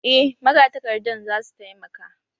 Eh, Magatakardan za su taimaka